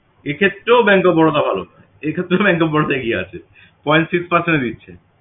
এক্ষেত্রেও bank of Baroda ভালো এক্ষেত্রেও bank of Baroda এগিয়ে আছে point six দিচ্ছে